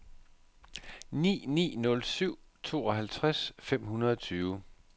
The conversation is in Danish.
ni ni nul syv tooghalvtreds fem hundrede og tyve